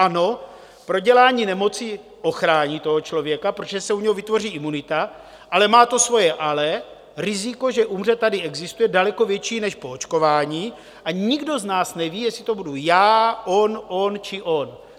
Ano, prodělání nemoci ochrání toho člověka, protože se u něho vytvoří imunita, ale má to svoje ale - riziko, že umře, tady existuje daleko větší než po očkování, a nikdo z nás neví, jestli to budu já, on, on či on.